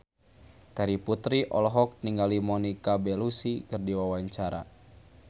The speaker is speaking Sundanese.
Terry Putri olohok ningali Monica Belluci keur diwawancara